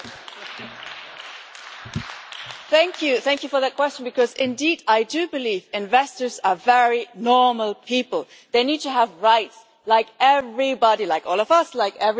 Thank you for that question, because indeed, I do believe investors are very normal people they need to have rights like everybody, like all of us, like everyone in Europe and in Canada and elsewhere.